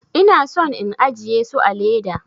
Ina son in ajiye su a leda.